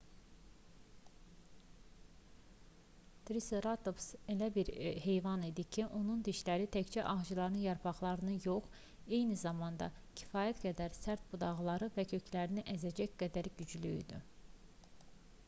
triseratops elə bir heyvan idi ki onun dişləri təkcə ağacların yarpaqlarını yox eyni zamanda kifayət qədər sərt budaqları və köklərini əzəcək qədər güclü idi